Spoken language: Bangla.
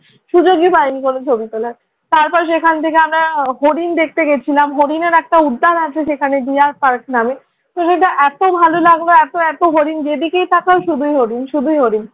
সুযোগই পাইনি কোনোদিন ছবি তোলার। তারপর সেখান থেকে আমরা হরিণ দেখতে গিয়েছিলাম। হরিণের একটা উদ্যান আছে সেখানে ‘ডিয়ার পার্ক’ নামে। ওই জায়গাটা এত ভাল লাগলো এত এত হরিণ যেদিকেই তাকাই শুধুই হরিণ, শুধুই হরিণ।